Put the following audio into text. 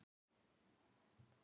Hver ætli hann sé?